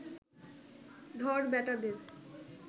ধর ব্যাটাদের